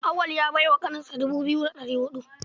Auwal ya bai wa ƙaninsa dubu biyu da ɗari huɗu.